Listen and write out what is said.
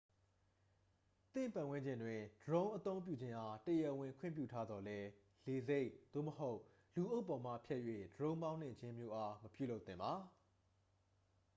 သင့်ပတ်ဝန်းကျင်တွင် ဒရုန်းအသုံးပြုခြင်းအား တရားဝင် ခွင့်ပြုထားသော်လည်း လေဆိပ် သို့မဟုတ် လူအုပ်ပေါ်မှဖြတ်၍ ဒရုန်းမောင်းနှင်ခြင်းမျိုးအား မပြုလုပ်သင့်ပါ